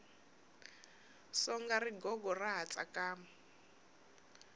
songa rigogo ra ha tsakama